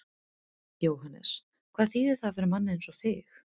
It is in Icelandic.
Jóhannes: Hvað þýðir það fyrir mann eins og þig?